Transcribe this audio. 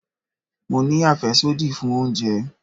Mo ní àfẹ́sódì fún oúnjẹ.